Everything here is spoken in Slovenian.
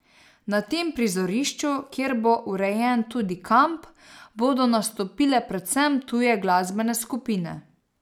Na tem prizorišču, kjer bo urejen tudi kamp, bodo nastopile predvsem tuje glasbene skupine.